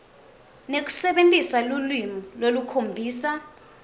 nekusebentisa lulwimi lolukhombisa